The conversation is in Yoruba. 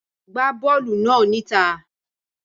Gbá bọ́ọ̀lù náà níta.